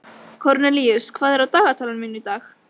Kornelíus, hvað er á dagatalinu mínu í dag?